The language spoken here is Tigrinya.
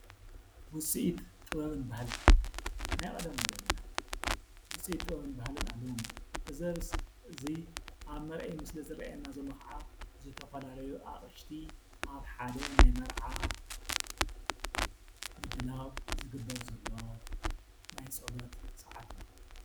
ውፅኢት ጥበብን ባህልን-ናይ ቐደም ወለድና ውፅኢት ጥበብን ባህልን ኣለዎም እዩ፡፡ እዚ ኣብ መርአዪ ምስሊ ዝርአየና ዘሎ ኸዓ ዝተፈላለዩ ኣቕሽቲ ኣብ ሓደ ናይ መርዓ ምድላው ዝግበር ዘሎ ናይ ፀሎት ሰዓት እዩ፡፡